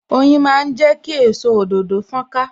Oyin máa ń jẹ ki èso òdòdó fon ka